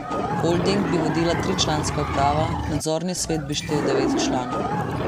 Holding bi vodila tričlanska uprava, nadzorni svet bi štel devet članov.